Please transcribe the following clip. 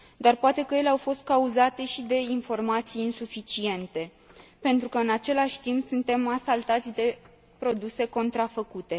Dar poate că ele au fost cauzate și de informații insuficiente, pentru că, în același timp, suntem asaltați de produse contrafăcute.